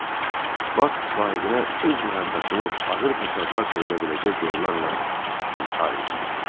Bak sahibinə öz məhəbbətini ağır fəsadlar törədə biləcək yollarla izhar eləyirdi.